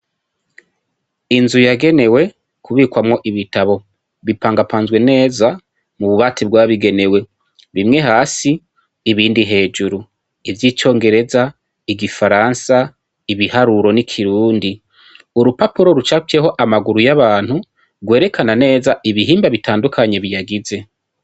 Inzu yagenewe kubikwamwo ibitabo. Bipangapanzwe neza mu bubati bwabigenewe bimwe hasi ibindi hejuru : ivy'icongereza, igifaransa, ibiharuro n'ikirundi. Urupapuro rucafyeho amaguru y'abantu rwerekana neza ibihimba bitandukanye biyagize